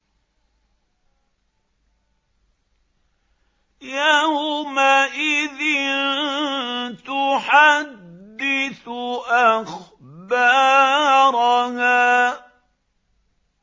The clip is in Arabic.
يَوْمَئِذٍ تُحَدِّثُ أَخْبَارَهَا